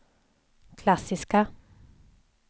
klassiska